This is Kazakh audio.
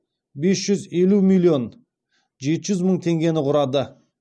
бес жүз елу миллион жеті жүз мың теңгені құрады